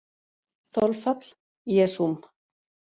Þolfall: Jesúm